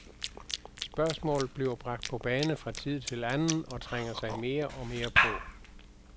Spørgsmålet bliver bragt på bane fra tid til anden og trænger sig mere og mere på.